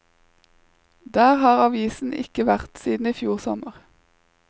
Der har avisen ikke vært siden i fjor sommer.